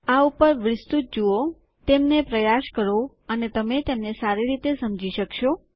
આ ઉપર વિસ્તૃત જુઓ તેમને પ્રયાસ કરો અને તમે તેમને સારી રીતે સમજી શકશો